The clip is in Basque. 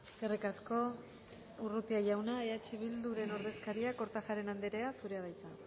eskerrik asko urrutia jauna eh bilduren ordezkaria kortajarena andrea zurea da hitza